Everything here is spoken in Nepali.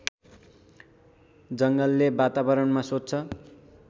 जङ्गलले वातावरणमा स्वच्छ